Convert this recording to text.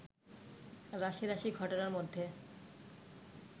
রাশি রাশি ঘটনার মধ্যে